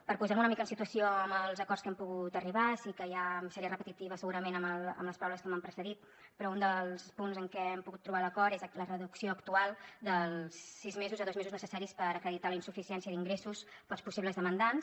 per posar me una mica en situació amb els acords a què hem pogut arribar sí que ja seria repetitiva segurament amb les paraules que m’han precedit però un dels punts en què hem pogut trobar l’acord és la reducció actual dels sis mesos a dos mesos necessaris per acreditar la insuficiència d’ingressos pels possibles demandants